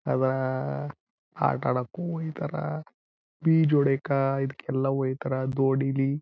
ಅಧ ಆಟ ಅಡೊಕು ಹೋಯ್ತರ ಈಜ್ ಹೊಡಿಯೋಕ ಇದ್ಕ ಎಲ್ಲ ಹೋಯ್ತರ ದೋಣಿಲಿ--